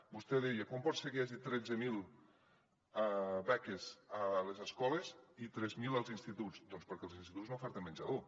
vostè deia com pot ser que hi hagi tretze mil beques a les escoles i tres mil als instituts doncs perquè els instituts no oferten menjador